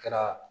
Kɛra